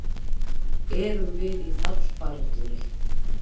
Erum við í fallbaráttunni?